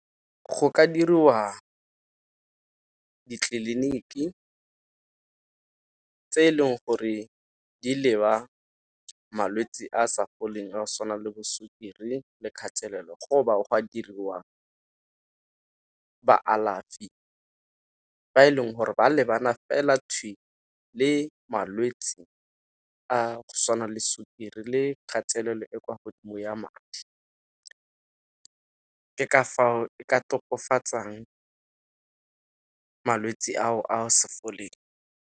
Go ka diriwa ditleliniki tse e leng gore di leba malwetse a sa foleng a go tshwana le bo sukiri le kgatelelo go ba go a diriwa baalafi ba e leng gore ba lebana fela le malwetse a go tshwana le sukiri le kgatelelo e kwa godimo ya madi. Ke ka fao e ka tokafatsang ka malwetse ao a sa foleng.